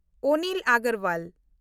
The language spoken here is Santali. ᱚᱱᱤᱞ ᱟᱜᱚᱨᱣᱟᱞ